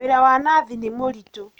Wĩra wa nathi nĩmũritũ.